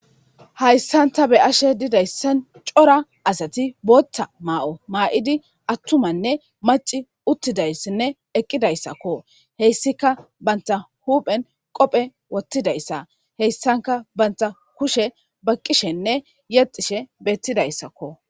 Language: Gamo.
Hayssan ta be ashe didayssan cora asati bootta maa'o maa'idi attumanne maci uttidayssinne eqqidayssakko heyssika banta huphen qophe wottidayssa heyssanka banta kushe baqqishenne yexishe beettidayssakko.